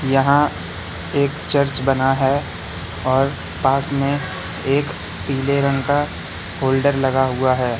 यहां एक चर्च बना है और पास में एक पीले रंग का फोल्डर लगा हुआ है।